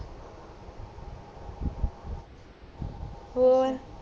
ਔਰ